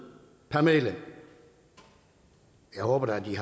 per medlem jeg håber da at de